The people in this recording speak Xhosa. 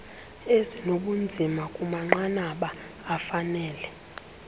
ezinobunzima kumanqanaba afanele